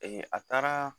a taara